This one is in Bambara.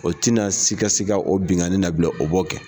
O tina sikasika o binnkanni na bilen o b'o kɛ.